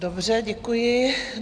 Dobře, děkuji.